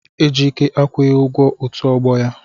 Ejike akwụghị ugwo otu ogbo ya.